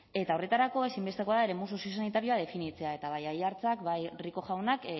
eta horretarako ezinbestekoa da eremu soziosanitarioa definitzea eta bai aiartzak bai rico jaunak